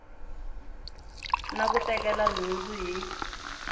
na ku tekela nhundzu hi